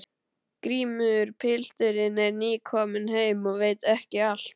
GRÍMUR: Pilturinn er nýkominn heim og veit ekki allt.